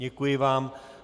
Děkuji vám.